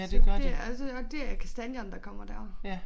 Så det er og så og det er kastanjerne der kommer dér